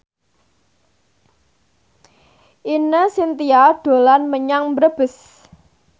Ine Shintya dolan menyang Brebes